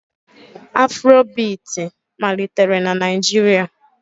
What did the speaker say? Afrobiiti malitere na Naịjirịa